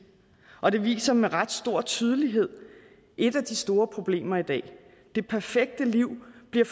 og det viser med ret stor tydelighed et af de store problemer i dag det perfekte liv bliver